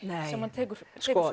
sem hann tekur